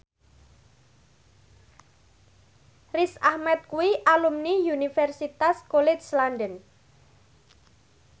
Riz Ahmed kuwi alumni Universitas College London